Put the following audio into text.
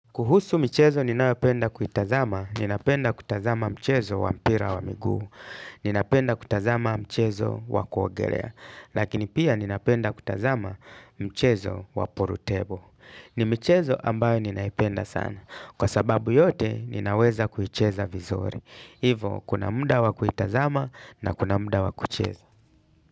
Kuhusu michezo ninayopenda kuitazama, ninapenda kutazama mchezo wa mpira wa miguu. Ninapenda kutazama mchezo wa kuogelea. Lakini pia ninapenda kutazama mchezo wa pool table. Ni michezo ambayo ninaipenda sana. Kwa sababu yote, ninaweza kuicheza vizuri. Hivo, kuna muda wa kuitazama na kuna muda wa kucheza.